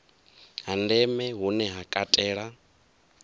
ha ndeme hune ha katela